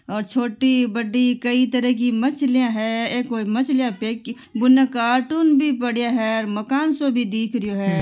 और छोटी बड़ी कई तरह की मछली है। ये कोई मछली बुने कार्टन भी पड़ा हैं मकान भी दिख रो हैं।